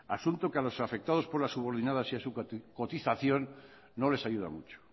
asunto que a los afectados por las subordinadas y a su cotización no les ayuda mucho